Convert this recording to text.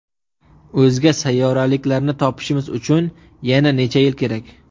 O‘zga sayyoraliklarni topishimiz uchun yana necha yil kerak?